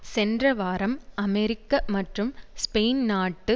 சென்ற வாரம் அமெரிக்க மற்றும் ஸ்பெயின் நாட்டு